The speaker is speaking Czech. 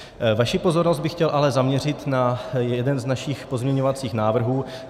Vaši pozornost bych chtěl ale zaměřit na jeden z našich pozměňovacích návrhů.